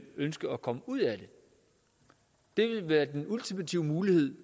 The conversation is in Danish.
ønsker at komme ud af det det vil være den ultimative mulighed